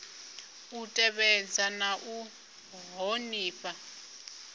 u tevhedza na u ṱhonifha